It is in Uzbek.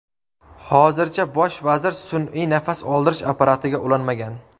Hozircha bosh vazir sun’iy nafas oldirish apparatiga ulanmagan.